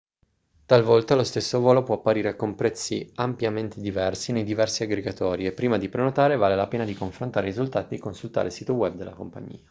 talvolta lo stesso volo può apparire con prezzi ampiamente diversi nei diversi aggregatori e prima di prenotare vale la pena di confrontare i risultati e di consultare il sito web della compagnia